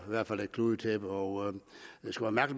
hvert fald et kludetæppe og